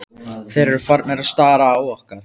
Þeir eru farnir að stara á okkar.